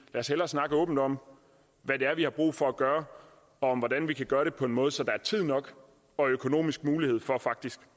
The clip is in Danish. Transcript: os hellere snakke åbent om hvad det er vi har brug for at gøre og om hvordan vi kan gøre det på en måde så der er tid nok og økonomisk mulighed for faktisk